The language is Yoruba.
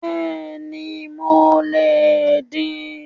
Béèni mo lè din